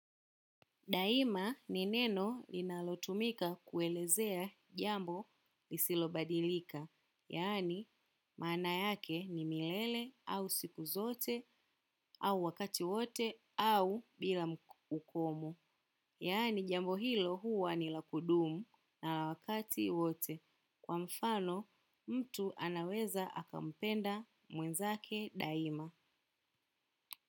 Daima ni neno linalotumika kuelezea jambo lisilobadilika, yaani maana yake ni milele au siku zote au wakati wote au bila mkomo. Yaani jambo hilo huwa ni la kudumu na wakati wote kwa mfano mtu anaweza akampenda mwenzake daima.